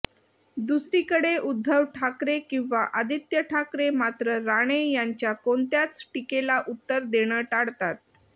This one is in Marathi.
दुसरीकडे उद्धव ठाकरे किंवा आदित्य ठाकरे मात्र राणे यांच्या कोणत्याच टीकेला उत्तर देणं टाळतात